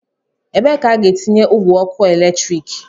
ebe ka a ga-etinye ogwe ọkụ eletrik